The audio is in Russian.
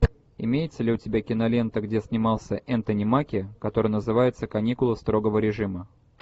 имеется ли у тебя кинолента где снимался энтони маки которая называется каникулы строгого режима